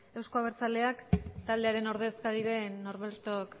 euzko abertzaleak taldearen ordezkari den norberto